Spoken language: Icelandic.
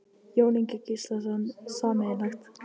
Jón Ingi Gíslason: Sameiginlegt?